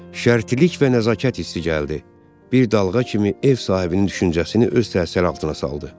Şərtlik və nəzakət hissi gəldi, bir dalğa kimi ev sahibinin düşüncəsini öz təsiri altına saldı.